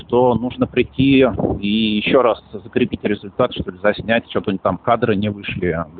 что нужно прийти и ещё раз закрепить результат чтобы заснять чтоб они там кадры не вышли